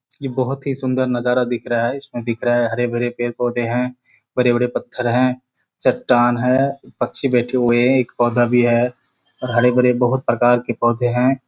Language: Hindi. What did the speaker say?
इ बहुत ही सुंदर नजारा दिख रहा है इसमें दिख रहा है हरे भरे पेड़ पौधे है बड़े-बड़े पत्थर है चट्टान है पक्षी बैठे हुए हैं एक पौधा भी है और हरे-भरे बहुत प्रकार के पौधे हैं।